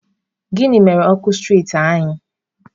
Gịnị mere ọkụ striiti anyị?